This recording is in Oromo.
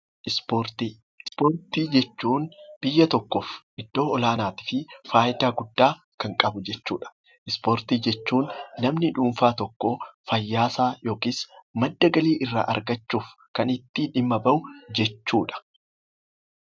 Ispoortii Ispoortii jechuun biyya tokkoof iddoo olaanaa fi fayidaa guddaa kan qabudha. Ispoortii jechuun namni dhuunfaa tokko fayyaa isaaf yookiis madda galii irraa argachuuf kan itti dhimma bahu jechuudha.